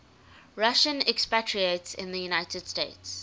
russian expatriates in the united states